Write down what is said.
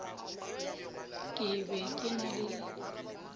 ke be ke na le